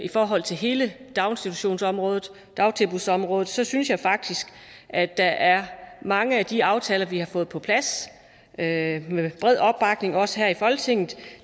i forhold til hele daginstitutionsområdet dagtilbudsområdet så synes jeg faktisk at der er mange af de aftaler vi har fået på plads med bred opbakning også her i folketinget